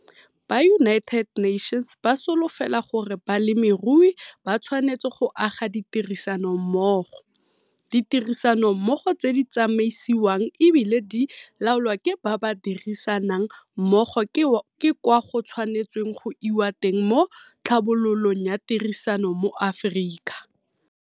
Ba United Nations ba solofela gore balemirui ba tshwanetse go aga ditirisanommogo, 'Ditirisanommogo tse di tsamaisiwang e bile di loalwa ke ba ba dirisanang mmogo ke kwa go tshwanetsweng go iwa teng mo tlhabololong ya tirisano mo Afrika'.